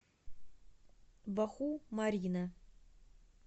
баху марьина